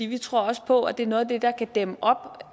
vi tror også på at det er noget af det der kan dæmme op